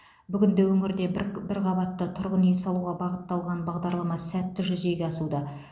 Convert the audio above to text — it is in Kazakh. бүгінде өңірде бір қабатты тұрғын үй салуға бағытталған бағдарлама сәтті жүзеге асуда